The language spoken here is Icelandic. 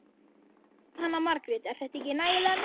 Jóhanna Margrét: Er þetta ekki nægilega mikið?